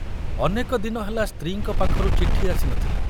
ଅନେକ ଦିନ ହେଲା ସ୍ତ୍ରୀଙ୍କ ପାଖରୁ ଚିଠି ଆସି ନଥିଲା।